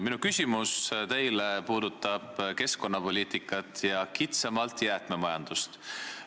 Minu küsimus teile puudutab keskkonnapoliitikat ja kitsamalt jäätmemajandust.